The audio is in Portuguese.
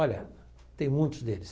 Olha, tem muitos deles.